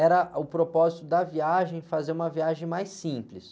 era o propósito da viagem, fazer uma viagem mais simples.